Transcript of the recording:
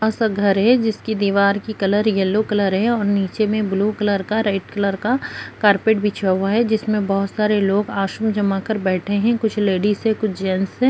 बड़ा सा घर है जिसकी दीवार की कलर येल्लो कलर है और नीचे में ब्लू कलर का रेड कलर का कारपेट बिछा हुआ है जिसमें बहुत सारे लोग आसन जमा कर बैठे है कुछ लेडीजस है कुछ जेंट्स हैं।